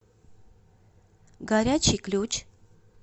горячий ключ